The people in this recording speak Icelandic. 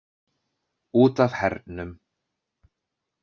Út af hernum.